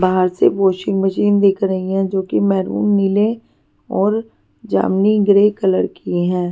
बाहर से washing machine दिख रही है जो कि मैरून नीले और जामनी ग्रे कलर की है.